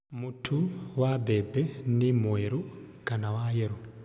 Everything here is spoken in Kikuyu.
Mũtu wa mbembe nĩ mwerũ kana wa yerũ